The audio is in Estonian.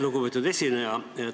Lugupeetud esineja!